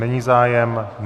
Není zájem?